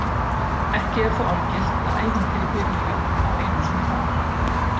Ekki er þó algilt að ævintýri byrji á Einu sinni var.